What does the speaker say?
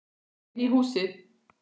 Inn í húsið?